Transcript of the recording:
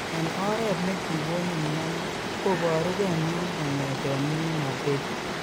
En oret ne kigonin mioni, koporuge mioni kongeten minginotet.